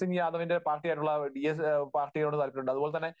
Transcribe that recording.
സിങ് യാദവിന്റെ പാർട്ടിയായിട്ടുള്ള ഡിഎസ്, പാർട്ടിയോട് താൽപ്പര്യമുണ്ട്. അതുപോലെതന്നെ